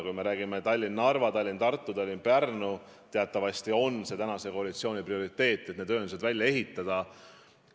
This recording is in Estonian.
Kui me räägime Tallinna–Narva, Tallinna–Tartu, Tallinna–Pärnu maanteest, siis teatavasti on praeguse koalitsiooni prioriteet need ühendused välja ehitada.